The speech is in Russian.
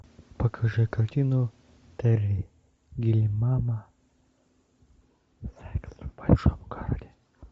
покажи картину терри гиллиама секс в большом городе